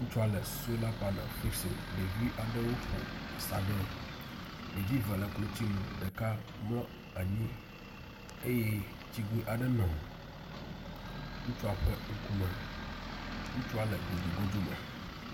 Ŋutsua le sola pane fixim, ɖevi aɖewo ƒo asa ɖee. Ɖevi eve le klotsinu, ɖeka mlɔ anyi eye tsigoe aɖe nɔ ŋutsua ƒe ŋkume. Ŋutsua le godzogodzo me.